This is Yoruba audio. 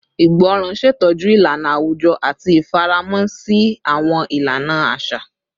Ìgbọràn ṣetọju ilana awujọ ati ifaramọ si awọn ilana aṣa